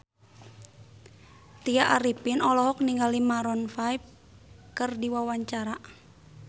Tya Arifin olohok ningali Maroon 5 keur diwawancara